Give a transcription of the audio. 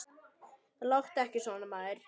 Láttu ekki svona, maður.